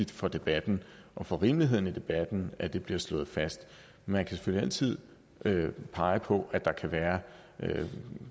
for debatten og for rimeligheden i debatten at det bliver slået fast man kan selvfølgelig altid pege på at der kan være